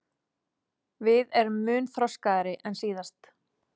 Við erum mun þroskaðri en síðast